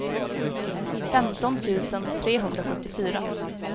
femton tusen trehundrasjuttiofyra